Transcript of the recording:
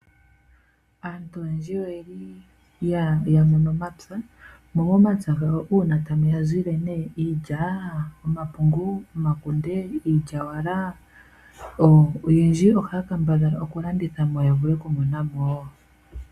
Aantu oyendji oye li ya mono omapya mo momapya mono una tamu yazile iilya ,omapungu ,omakunde nenge iilyawala oyendji ohaya kambadhala oku landitha mo yavule okumona mo wo.